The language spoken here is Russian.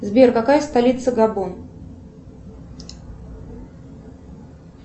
сбер какая столица габон